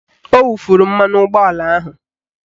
Ọ wufuru mmanụ ụgbọala ahụ